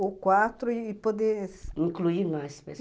Ou quatro e poder... Incluir mais pessoas.